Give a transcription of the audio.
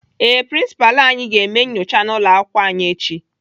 Ee, Prinsipalụ anyị ga-eme nnyocha n'ụlọakwụkwọ anyị echi.